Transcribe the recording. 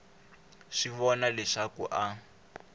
swi vona leswaku a a